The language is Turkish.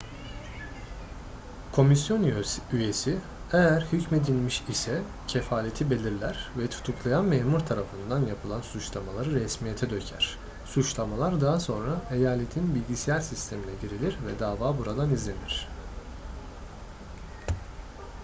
komisyon üyesi eğer hükmedilmiş ise kefaleti belirler ve tutuklayan memur tarafından yapılan suçlamaları resmiyete döker suçlamalar daha sonra eyaletin bilgisayar sistemine girilir ve dava buradan izlenir